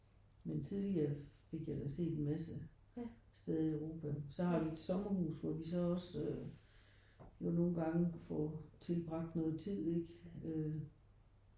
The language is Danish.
Men tidligere fik jeg da set en masse steder i Europa. Så har vi et sommerhus hvor vi så også jo nogen gange får tilbragt noget tid ikke øh